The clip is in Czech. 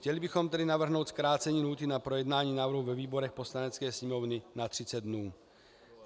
Chtěli bychom tedy navrhnout zkrácení lhůty na projednání návrhu ve výborech Poslanecké sněmovny na 30 dnů.